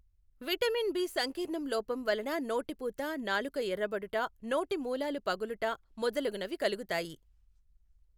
Vitamin B సంకీర్ణం లోపం వలన నోటిపూత నాలుక ఎర్ర బడుట నోటి మూలాలు పగులుట మొదలగునవి కలుగుతాయి.